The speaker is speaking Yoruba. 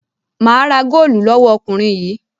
Mà á ra góólù lọ́wọ́ ọkùnrin yìí.